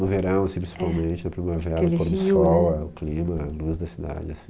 No verão, principalmente, na primavera, o pôr do sol, o clima, a luz da cidade assim